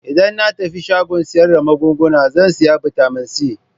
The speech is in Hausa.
Idan na tafi shagon sayar da magunguna zan sayi Bitamin C.